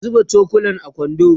ku zuba cokulan a kwando